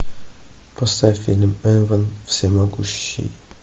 поставь фильм эван всемогущий